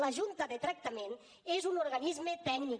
la junta de tractament és un organisme tècnic